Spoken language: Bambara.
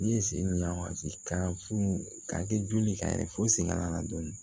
Ne ye sen ɲ'a ma ten ka fu ka kɛ joli ka yɛlɛ fo segin kana na dɔɔnin